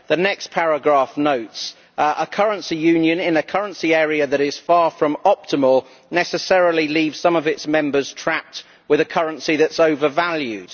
The next paragraph notes that a currency union in a currency area that is far from optimal necessarily leaves some of its members trapped with a currency that is overvalued.